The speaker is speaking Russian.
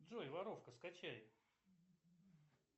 джой воровка скачай